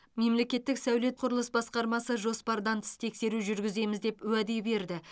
мемлеттік сәулет құрылыс басқармасы жоспардан тыс тексеру жүргіземіз деп уәде берді